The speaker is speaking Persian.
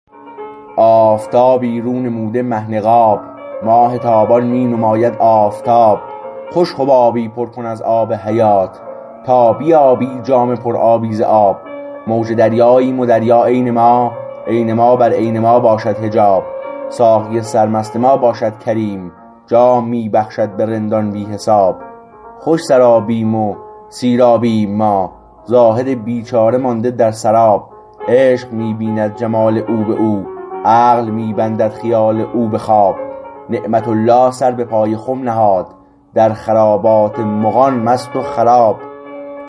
آفتابی رو نموده مه نقاب ماه تابان می نماید آفتاب خوش حبابی پر کن از آب حیات تا بیابی جام پر آبی ز آب موج دریاییم و دریا عین ما عین ما بر عین ما باشد حجاب ساقی سرمست ما باشد کریم جام می بخشد به رندان بی حساب خوش سر آبیم و سیرابیم ما زاهد بیچاره مانده در سراب عشق می بیند جمال او به او عقل می بندد خیال او به خواب نعمت الله سر به پای خم نهاد در خرابات مغان مست و خراب